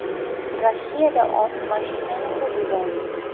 Rossiyada ot mashinani urib yubordi .